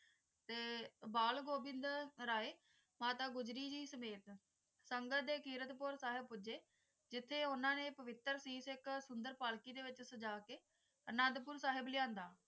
ਬਾਲ ਗੋਵਿੰਦਰ ਆਏ ਮਾਤਾ ਗੋਜਰੀ ਜੀ ਸਮੇਤ ਸੰਗੜ ਦੇ ਕਿਰਤ ਪੁਰ ਸਾਹਿਬ ਪੁੱਜੇ ਜਿਥੇ ਉਨ੍ਹਾਂ ਨੇ ਪਵਿੱਤਰ ਚੀਜ਼ ਇਕ ਸੁੰਦਰ ਪਾਲਕੀ ਦੇ ਵਿਚ ਸਜਾ ਕ ਅਨੰਦਪੁਰ ਸਾਹਿਬ ਲਈ ਆਂਦਾ